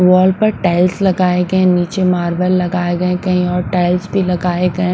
Wall पर tiles लगाए गए हैं नीचे मार्बल लगाए गए कहीं और टाइल्स भी लगाए गए हैं।